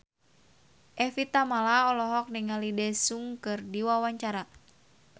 Evie Tamala olohok ningali Daesung keur diwawancara